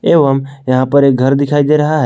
एवं यहां पर एक घर दिखाई दे रहा है।